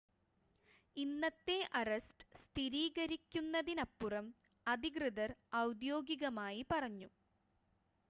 ഇന്നത്തെ അറസ്റ്റ് സ്ഥിരീകരിക്കുന്നതിനപ്പുറം അധികൃതർ ഔദ്യോഗികമായി പറഞ്ഞു